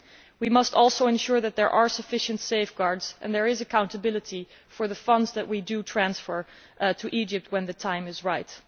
We must ensure, too, that there are sufficient safeguards and that there is accountability for the funds we will transfer to Egypt when the time is right.